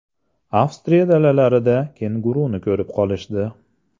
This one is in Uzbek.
Avstriya dalalarida kenguruni ko‘rib qolishdi.